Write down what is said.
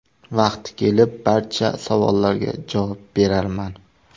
Vaqti kelib, barcha savollarga javob berarman.